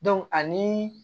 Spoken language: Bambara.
ani